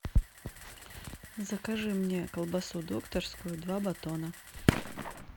закажи мне колбасу докторскую два батона